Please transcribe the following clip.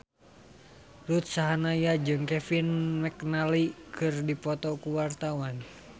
Ruth Sahanaya jeung Kevin McNally keur dipoto ku wartawan